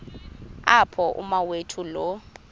apho umawethu lo